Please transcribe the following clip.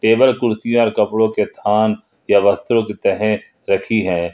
Table कुर्सी और कपड़ों के थान ये वस्त्रों की तह रखी हैं।